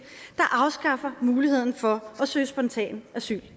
der afskaffer muligheden for at søge spontan asyl